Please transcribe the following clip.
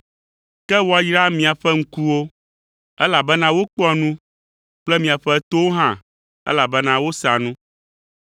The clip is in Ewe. Ke woayra miaƒe ŋkuwo, elabena wokpɔa nu kple miaƒe towo hã elabena wosea nu.